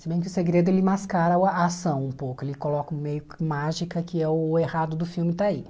Se bem que o segredo ele mascara o a ação um pouco, ele coloca o meio que mágica que é o errado do filme está aí.